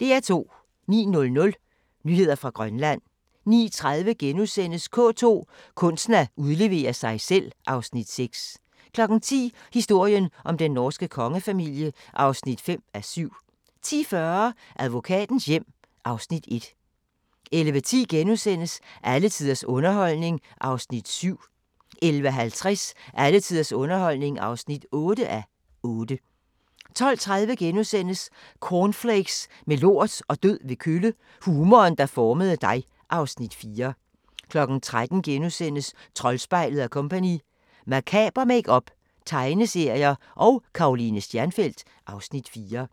09:00: Nyheder fra Grønland 09:30: K2: Kunsten at udlevere sig selv (Afs. 6)* 10:00: Historien om den norske kongefamilie (5:7) 10:40: Arkitektens hjem (Afs. 1) 11:10: Alle tiders underholdning (7:8)* 11:50: Alle tiders underholdning (8:8) 12:30: Cornflakes med lort og død ved kølle – humoren, der formede dig (Afs. 4)* 13:00: Troldspejlet & Co – Makaber makeup, tegneserier – og Karoline Stjernfelt (Afs. 4)*